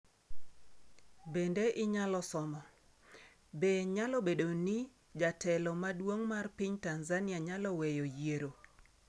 Bende inyalo somo: Be nyalo bedo ni jotelo madongo mag piny Tanzania nyalo weyo yiero?